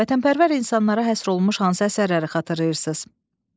Vətənpərvər insanlara həsr olunmuş hansı əsərləri xatırlayırsınız?